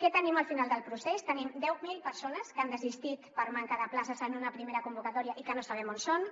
què tenim al final del procés tenim deu mil persones que han desistit per manca de places en una primera convocatòria i que no sabem on són